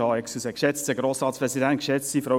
Bitte melden Sie sich noch an.